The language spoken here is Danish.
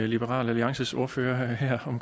liberal alliances ordfører her